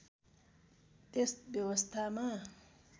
त्यस व्यवस्थामा